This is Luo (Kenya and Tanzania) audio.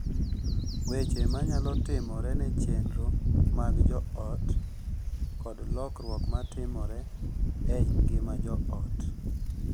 Weche manyalo timore ne chenro mag jo ot kod lokruok ma timore e ngima jo ot